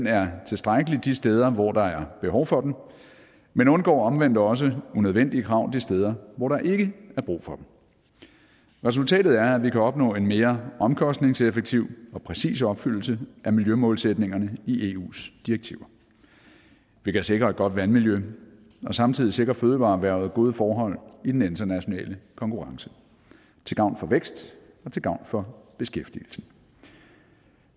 er tilstrækkelig de steder hvor der er behov for den men undgår omvendt også unødvendige krav de steder hvor der ikke er brug for dem resultatet er at vi kan opnå en mere omkostningseffektiv og præcis opfyldelse af miljømålsætningerne i eus direktiver vi kan sikre et godt vandmiljø og samtidig sikre fødevareerhvervet gode forhold i den internationale konkurrence til gavn for vækst og til gavn for beskæftigelsen